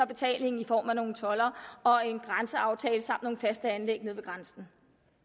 betaling i form af nogle toldere og en grænseaftale samt nogle faste anlæg nede ved grænsen